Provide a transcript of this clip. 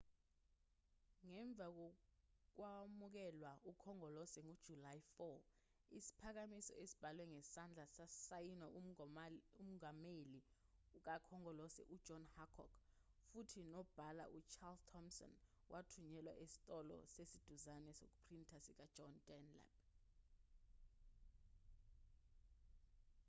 ngemva kokwamukelwa ukhongolose ngojulayi 4 isiphakamiso esibhalwe ngesandla sasayinwa umongameli kakhongolose ujohn hancock futhi nonobhala ucharles thompson wathunyelwa esitolo esiseduzane sokuphrinta sikajohn dunlap